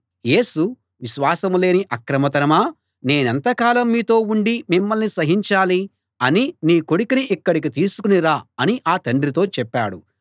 యేసు విశ్వాసం లేని అక్రమ తరమా నేనెంత కాలం మీతో ఉండి మిమ్మల్ని సహించాలి అని నీ కొడుకుని ఇక్కడికి తీసుకుని రా అని ఆ తండ్రితో చెప్పాడు